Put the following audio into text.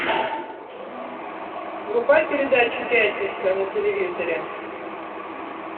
врубай передачу пятница на телевизоре